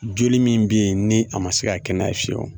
Joli min be yen ni a ma se ka kɛnɛya fiyewu